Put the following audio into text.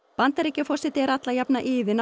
Bandaríkjaforseti er alla jafna iðinn á